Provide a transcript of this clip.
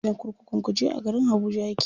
Gidan kurkukun kuje a garin habuja yake.